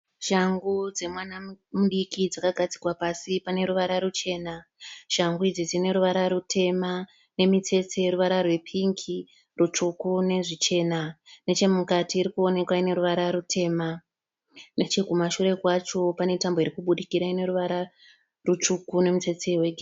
Shangu dzemwana mudiki dzakagadzikwa pasi pane ruvara ruchena. Shangu idzi dzine ruvara rutema nemitsetse yeruvara rwepingi, rutsvuku nezvichena. Nechemukati irikuwonekwa ine ruvara rutema. Nechekumashure kwacho pane tambo iri kubudikira ine ruvara rutsvuku nemitsetse.